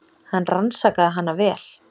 Hann rannsakaði hana vel.